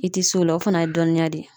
I tɛ s'o la o fana ye dɔnniya de ye